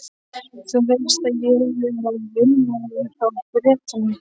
Þú veist að ég er að vinna hjá Bretanum?